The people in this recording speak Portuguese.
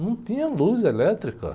Não tinha luz elétrica.